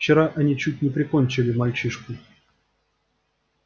вчера они чуть не прикончили мальчишку